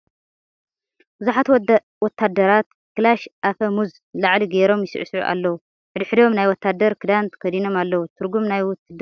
ብዙሓት ወታደር ክላሽ ኣፈ ሙዝ ንላዕሊ ገይሮም ይስዕስዑ ኣለዉ ። ሕድ ሕዶም ናይ ወታደር ክዳን ተከዲኖም እለዉ ። ትርጉም ናይ ውትድርና እንታይ እዩ ?